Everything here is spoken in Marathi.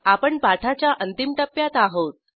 आपण पाठाच्या अंतिम टप्प्यात आहोत